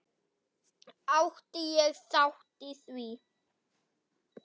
Átti ég þátt í því?